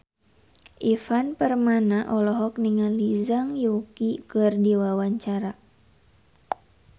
Ivan Permana olohok ningali Zhang Yuqi keur diwawancara